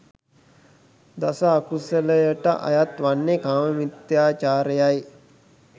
දස අකුසලයට අයත් වන්නේ කාම මිථ්‍යාචාරය යි.